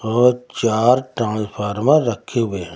और चार ट्रांसफार्मर रखे हुए हैं।